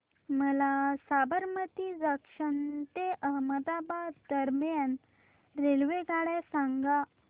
मला साबरमती जंक्शन ते अहमदाबाद दरम्यान रेल्वेगाड्या सांगा